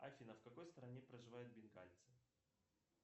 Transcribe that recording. афина в какой стране проживают бенгальцы